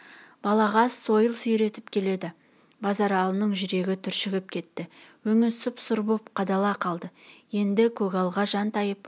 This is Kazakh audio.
балағаз сойыл сүйретіп келеді базаралының жүрегі түршігіп кетті өңі сұп-сұр боп қадала қалды енді көгалға жантайып